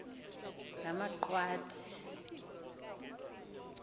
ngamaqwathi